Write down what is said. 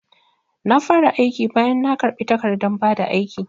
Na fara aikin bayan na karbi takardan bada aiki